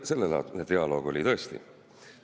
Sellelaadne dialoog oli tõesti.